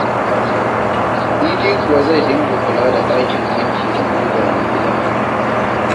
Idi kuwa zai dinga kula da ɗakin wanki da guga na gida.